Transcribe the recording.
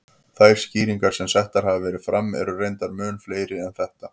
Þær skýringar sem settar hafa verið fram eru reyndar mun fleiri en þetta.